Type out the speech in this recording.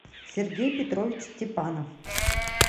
сергей петрович степанов